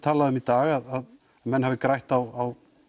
talað um í dag að menn hafi grætt á